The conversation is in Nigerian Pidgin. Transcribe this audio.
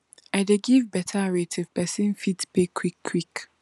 i dey give better rate if person fit pay quick quick